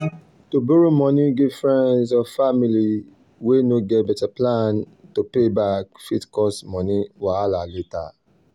to borrow money give friends or family way no get better plan to pay back fit cause money wahala later.